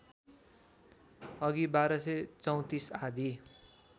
अघि १२३४ आदि